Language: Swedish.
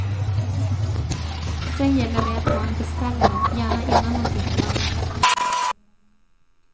Sedan gäller det att ha en beställare, gärna innan man byggt varvet.